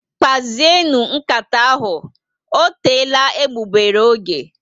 Kpazienu nkata ahụ, ọ teela egbugbere ógè